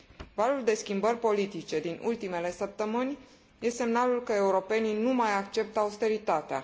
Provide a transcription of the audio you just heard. Valul de schimbări politice din ultimele săptămâni e semnalul că europenii nu mai acceptă austeritatea.